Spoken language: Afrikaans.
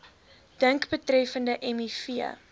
dink betreffende miv